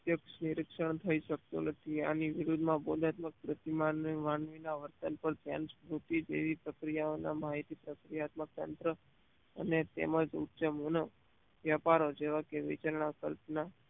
સાપેક્ષ નિરિક્ષણ થઇ શકતું નથી આની વિરુધ માં બોધાત્મિક પ્રતિમા ને માનવી ના વર્તન પર જેમ્સ સ્મુતી જેવી પ્રક્રિયાઓ ના માહિતી પ્રક્રિયાત્મક તંત્ર અને તેમજ ઉચ્ચમોના વ્યાપારો જેવા કે નીચેના કલ્પના